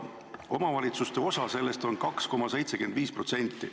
Omavalitsuste osa on sellest 2,75%.